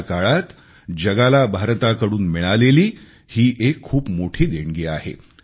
अशा काळात जगाला भारताकडून मिळालेली ही एक खूप मोठी देणगी आहे